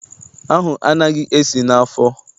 Ahụ anaghị esi isi n'afọ.